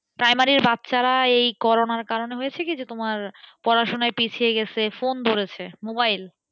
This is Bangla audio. primary র বাচ্চারা এই করোনার কারণে হয়েছে কি যে তোমার পড়াশোনায় পিছিয়ে গেছে phone ধরেছে mobile,